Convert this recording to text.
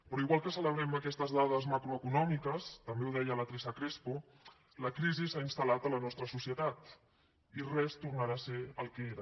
però igual que celebrem aquestes dades macroeconòmiques també ho deia la teresa crespo la crisi s’ha instal·lat a la nostra societat i res tornarà a ser el que era